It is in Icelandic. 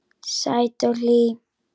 Sæt og hlý.